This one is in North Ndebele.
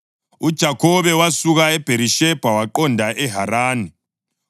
UJakhobe wasuka eBherishebha waqonda eHarani.